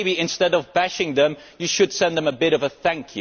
So maybe instead of bashing them, you should send them a bit of a thank